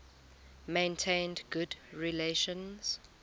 maintained good relations